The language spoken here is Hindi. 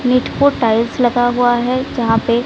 नीट को टाइल्स लगा हुआ है जहां पे--